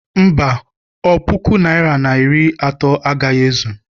Mba, ọ puku naịra na iri atọ agaghị ezu.